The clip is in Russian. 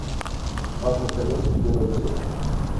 ад на колесах первая часть